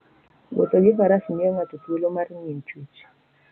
Wuotho gi Faras miyo ng'ato thuolo mar ng'iyo chwech.